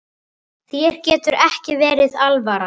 Þér getur ekki verið alvara.